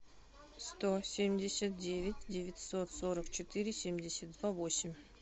сто семьдесят девять девятьсот сорок четыре семьдесят два восемь